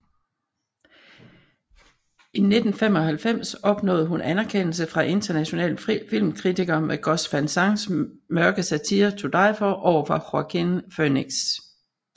I 1995 opnåede hun anerkendelse fra internationale filmkritikere med Gus van Sants mørke satire To Die For overfor Joaquin Phoenix